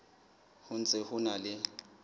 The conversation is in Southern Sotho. ho ntse ho na le